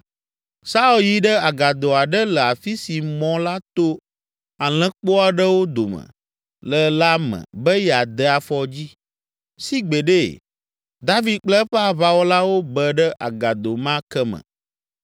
Saul yi ɖe agado aɖe le afi si mɔ la to alẽkpo aɖewo dome le la me be yeade afɔdzi, sigbeɖe, David kple eƒe aʋawɔlawo be ɖe agado ma ke me!